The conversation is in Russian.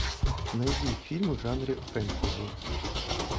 найди фильмы в жанре фэнтези